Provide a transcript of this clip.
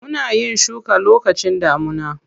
Muna yin shuka lokacin damuna.